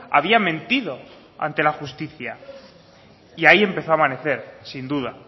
había mentido ante la justicia y ahí empezó a amanecer sin duda